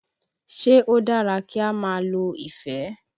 Ṣé ó dára kí á máa lo ìfẹ́?